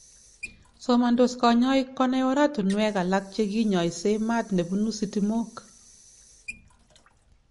somandos kanyaik konai oratunwek alak che kinyaisyee maat nebunu sitimok